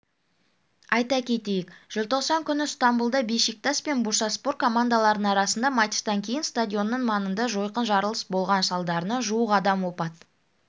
айта кетейік желтоқсан күні ыстанбұлда бешикташ пен бурсаспор командаларының арасындағы матчтан кейін стадионының маңында жойқын жарылыс болған салдарынан жуық адам опат